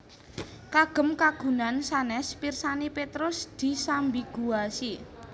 Kagem kagunaan sanès pirsani Petrus disambiguasi